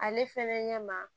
Ale fɛnɛ ɲɛ ma